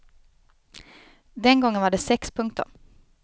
Den gången var det sex punkter.